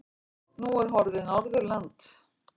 Nú er horfið Norðurland.